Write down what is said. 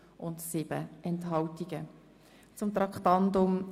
Wir kommen zur Abstimmung betreffend Traktandum 32.